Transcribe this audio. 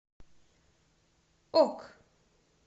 ок